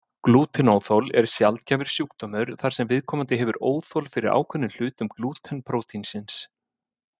Glútenóþol er sjaldgæfur sjúkdómur þar sem viðkomandi hefur óþol fyrir ákveðnum hlutum glúten prótínsins.